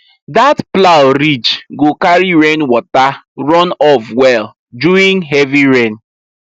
that plow ridge go carry rainwater runoff well during heavy rain